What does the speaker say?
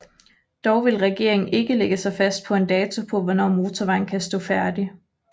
Dog vil regeringen ikke lægge sig fast på en dato på hvornår motorvejen kan stå færdig